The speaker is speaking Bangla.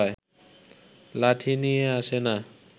লাঠি নিয়ে আসে না